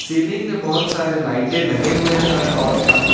ceiling में बहोत सारे लाइटें लगे हुए हैं और पंखे--